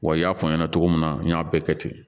Wa i y'a fɔ aw ɲɛna cogo min na n y'a bɛɛ kɛ ten